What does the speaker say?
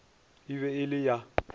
e be e le ya